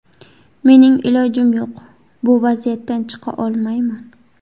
Mening ilojim yo‘q, bu vaziyatdan chiqa olmayman.